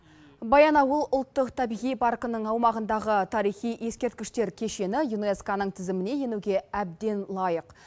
баянауыл ұлттық табиғи паркінің аумағындағы тарихи ескерткіштер кешені юнеско ның тізіміне енуге әбден лайық